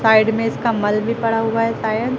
Side में इसका मल पड़ा हुआ है सायद ।